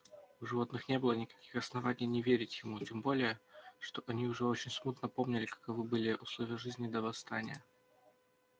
у животных не было никаких оснований не верить ему тем более что они уже очень смутно помнили каковы были условия жизни до восстания